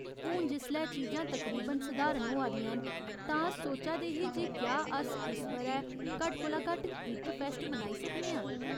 हून जिसलै चीजां तकरीबन सधारण होआ दियां न, तां अस सोचा दे हे जे क्या अस इस ब'रै घट्ट कोला घट्ट इक फैस्ट मनाई सकने आं।